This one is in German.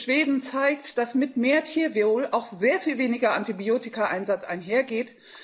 Das Beispiel Schweden zeigt, dass mit mehr Tierwohl auch sehr viel weniger Antibiotikaeinsatz einhergeht.